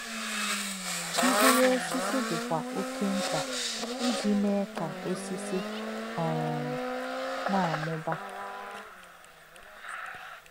Mkpụ̀rụ́ ọ̀sísì̄ dì̄kwà̄ ọ̀kè̄ m̀kpá̄ íjì̄ mè̄è̄ kā̄ ọ̀sísì̄ um nā̄-àmū̄bà̄.